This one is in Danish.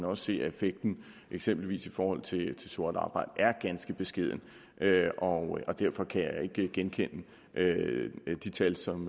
også se at effekten eksempelvis i forhold til sort arbejde er ganske beskeden og derfor kan jeg ikke genkende de tal som